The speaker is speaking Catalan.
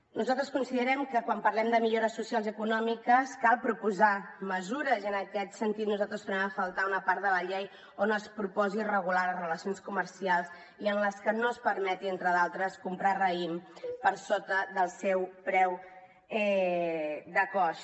nosaltres considerem que quan parlem de millores socials econòmiques cal proposar mesures en aquest sentit nosaltres trobem a faltar una part de la llei on es proposi regular les relacions comercials i en les que no es permeti entre d’altres comprar raïm per sota del seu preu de cost